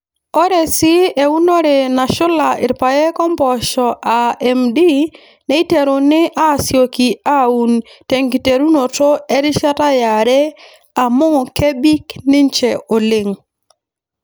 Ore sii eunore nashula rpayek ompoosho aa MD neiteruni aasioki aaun tenkiterunoto erishata yare amuu kebik ninche oleng.